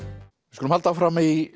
skulum halda áfram í